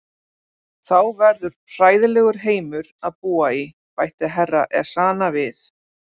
Þá verður hræðilegur heimur að búa í, bætti Herra Ezana við.